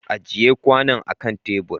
Ajiye kwanon akan tebur!